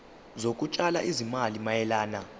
zokutshala izimali mayelana